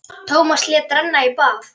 Tómas lét renna í bað.